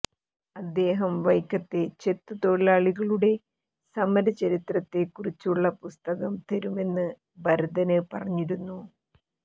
അദ്ദേഹം വൈക്കത്തെ ചെത്തു തൊഴിലാളികളുടെ സമരചരിത്രത്തെക്കുറിച്ചുള്ള പുസ്തകം തരുമെന്ന് ഭരതന് പറഞ്ഞിരുന്നു